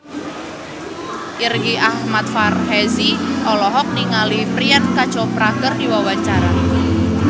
Irgi Ahmad Fahrezi olohok ningali Priyanka Chopra keur diwawancara